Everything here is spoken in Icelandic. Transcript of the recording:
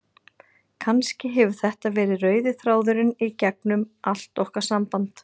Kannski hefur þetta verið rauði þráðurinn í gegnum allt okkar samband.